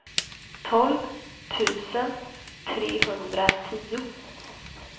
tolv tusen trehundratio